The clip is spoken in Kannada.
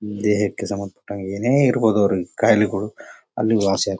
ದೇಹಕ್ಕೆ ಸಂಬಂಧ ಪಟ್ಟ ಏನೇ ಇರಬಹುದು ಅವರಿಗೆ ಖಾಯಿಲೆಗಳು ಅಲ್ಲಿಗೆ ವಾಸಿಯಾಗ್--